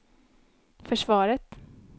försvaret